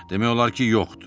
Demək olar ki, yoxdur.